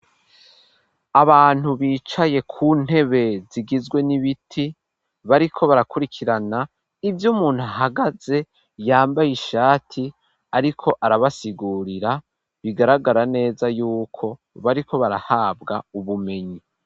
Abantu bicaye ku ntebe zigizwe n'ibiti bariko barakurikirana ivyo umuntu ahagaze yambaye ishati ariko arabasigurira bigaragara neza yuko bariko barahabwa ubumenyi.